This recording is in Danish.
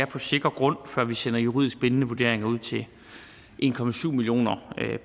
på sikker grund før vi sender juridisk bindende vurderinger ud til en millioner